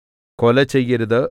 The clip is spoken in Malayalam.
കൊല ചെയ്യരുത്